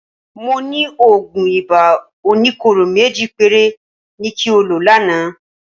Mo ní òògùn ibà oníkóró méjì péré ni kí o lò lánàá